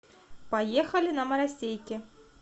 поехали на маросейке